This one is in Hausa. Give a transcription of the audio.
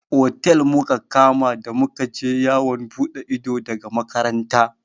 Otel muka kama da muka je yawon buɗe ido daga makaranta.